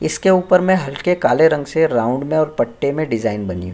इसके ऊपर में हल्के काले रंग से राउंड में और पट्टे मे डिज़ाइन बनी हुई --